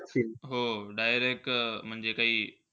हो, direct म्हणजे काही?